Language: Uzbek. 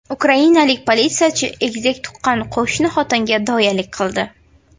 Ukrainalik politsiyachi egizak tuqqan qo‘shni xotinga doyalik qildi.